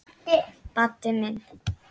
Baddi minn.